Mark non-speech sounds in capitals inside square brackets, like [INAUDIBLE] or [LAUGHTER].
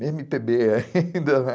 [LAUGHS] eme pê bê [UNINTELLIGIBLE] [LAUGHS]